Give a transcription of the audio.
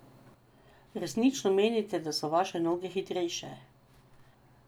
Resnično menite, da so vaše noge hitrejše?